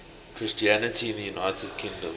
christianity in the united kingdom